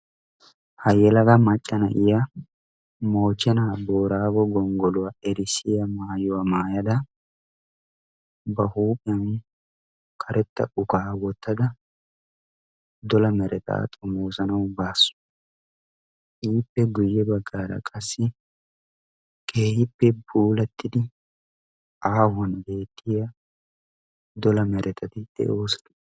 ha yelaga macca na"iya moche na booraago gonggoluwa erissiya mayuwa mayada ba huuphiyan karetta uka wottada dola meretaa xomoosanawu baasu. iippe guyye baggaara qassi keehippe puulattidi aahuwan beettiya dola meretati de'oosona.